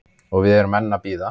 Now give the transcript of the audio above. Og við erum enn að bíða